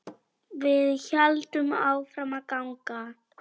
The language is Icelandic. Við héldum áfram að ganga.